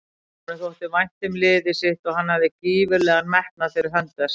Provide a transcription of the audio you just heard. Honum þótti vænt um liðið sitt og hann hafði gífurlegan metnað fyrir hönd þess.